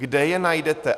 Kde je najdete?